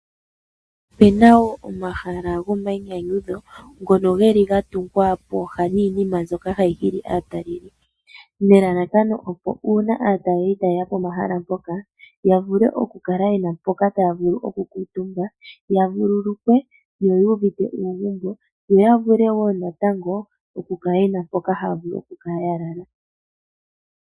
Opena wo omahala ho mayinyanyudho ngono geli ga tungwa pooha niinima mbyoka hayi hili aataleli, nelalakano uuna aataleli ta yeya pomahala ngoka ya vule oku kala yena mpoka taya vulu oku kuutumba, ya vululukwe yo yu uvite uugumbo yo ya vule wo natango oku kala yena mpoka haya vulu oku kala ya lala.